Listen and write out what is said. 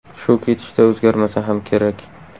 Shu ketishda o‘zgarmasa ham kerak.